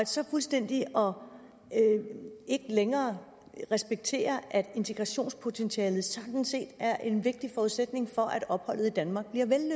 så fuldstændigt ikke længere at respektere at integrationspotentialet sådan set er en vigtig forudsætning for at opholdet i danmark